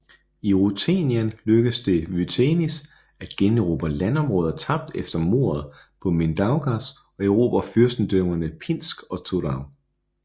I Rutenien lykkedes det Vytenis at generobre landområder tabt efter mordet på Mindaugas og erobre fyrstendømmerne Pinsk og Turaŭ